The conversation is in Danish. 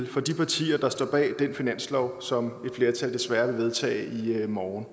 for de partier der står bag den finanslov som flertal desværre vil vedtage i morgen